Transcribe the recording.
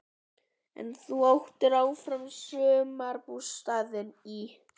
En þú áttir áfram sumarbústaðinn í